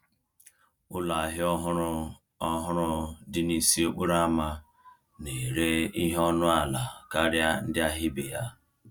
Ụlọ ahịa ọhụrụ ọhụrụ dị n’isi okporo ama na-ere ihe ọnụ ala karịa ndị ahịa ibe ya.